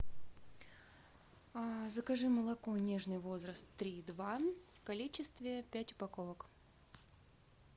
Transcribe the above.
закажи молоко нежный возраст три и два в количестве пять упаковок